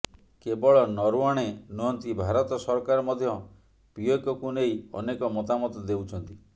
କେବଳ ନରୱାଣେ ନୁହଁନ୍ତି ଭାରତ ସରକାର ମଧ୍ୟ ପିଓକେକୁ ନେଇ ଅନେକ ମତାମତ ଦେଉଛନ୍ତି